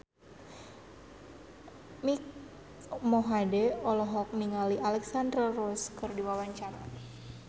Mike Mohede olohok ningali Alexandra Roach keur diwawancara